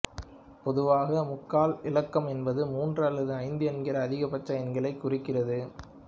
பொதுவாக முக்கால் இலக்கம் என்பது மூன்று அல்லது ஐந்து என்கிற அதிகபட்ச எண்களைக் குறிக்கிறது